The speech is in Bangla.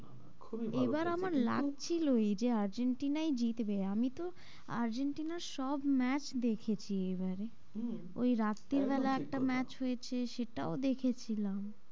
খুবই ভালো করেছে কিন্তু এবারে আমার লাগছিলোই যে আর্জেন্টিনাই জিতবে আমি তো আর্জেন্টিনার সব match দেখেছি এবারে হম ওই রাত্তির বেলা একটা match হয়েছে সেটাও দেখেছিলাম,